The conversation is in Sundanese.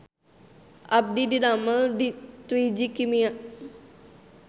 Abdi didamel di Twiji Kimia